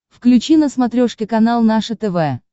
включи на смотрешке канал наше тв